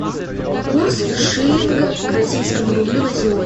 курс шиллинга к российскому рублю на сегодня